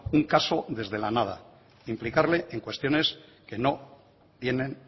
un caso desde la nada implicarle en cuestiones que no tienen